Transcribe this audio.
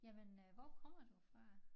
Jamen øh hvor kommer du fra?